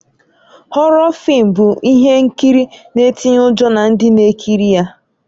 Họrọ fịịm bụ ihe nkiri na-ịtịnye ụjọ na ndị na-ekiri ya